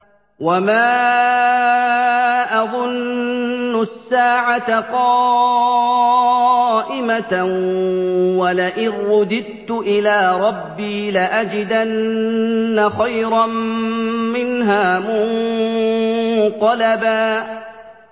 وَمَا أَظُنُّ السَّاعَةَ قَائِمَةً وَلَئِن رُّدِدتُّ إِلَىٰ رَبِّي لَأَجِدَنَّ خَيْرًا مِّنْهَا مُنقَلَبًا